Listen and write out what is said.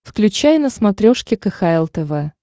включай на смотрешке кхл тв